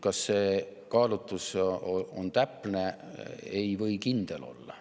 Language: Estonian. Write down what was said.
Kas see kaalutlus on täpne, ei või kindel olla.